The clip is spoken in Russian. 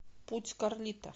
путь карлито